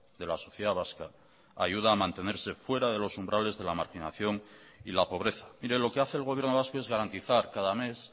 de la sociedad vasca ayuda a mantenerse fuera de los umbrales de la marginación y la pobreza mire lo que hace el gobierno vasco es garantizar cada mes